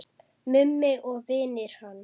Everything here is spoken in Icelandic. Mummi og vinir hans.